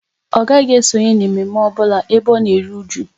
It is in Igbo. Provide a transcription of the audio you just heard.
Ọ gaghị esonye na mme mme ọbụla ebe ọ na eru ụju